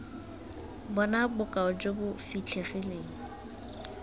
bona bokao jo bo fitlhegileng